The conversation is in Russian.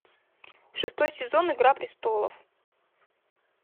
шестой сезон игра престолов